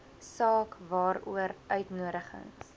saak waaroor uitnodigings